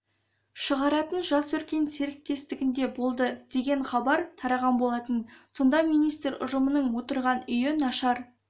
шығаратын жас өркен серіктестігінде болды деген хабар тараған болатын сонда министр ұжымның отырған үйі нашар